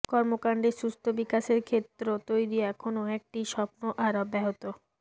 কর্মকাণ্ডের সুস্থ বিকাশের ক্ষেত্র তৈরি এখনও একটি স্বপ্ন আর অব্যাহত